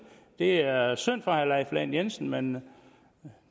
det er er synd for herre leif lahn jensen men